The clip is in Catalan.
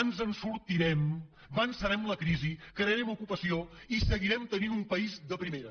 ens en sortirem vencerem la crisi crearem ocupació i seguirem tenint un país de primera